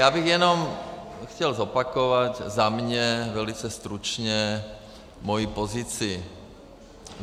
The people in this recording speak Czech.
Já bych jenom chtěl zopakovat za mě velice stručně moji pozici: